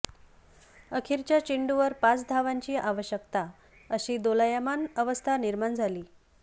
अखेरच्या चेंडूवर पाच धावांची आवश्यकता अशी दोलायमान अवस्था निर्माण झाली